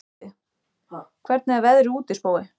Spói, hvernig er veðrið úti?